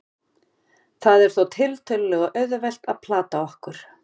það er þó tiltölulega auðvelt að plata okkur